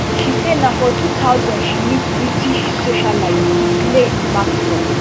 she say na for two thousand she meet british socialite ghislaine maxwell